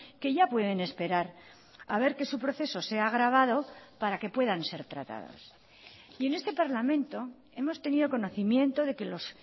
que ya pueden esperar a ver que su proceso sea agravado para que puedan ser tratados y en este parlamento hemos tenido conocimiento de que los